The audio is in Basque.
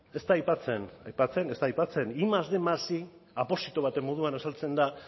ez da aipatzen batgarren más bostehun más batgarren aposito baten moduan azaltzen da a